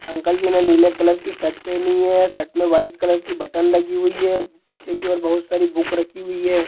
Uncle ji ने नीले colour की शर्ट पहनी है| शर्ट में व्हाइट कलर की बटन लगी हुई है| पीछे की ओर बहुत सारी बुक रखी हुई है।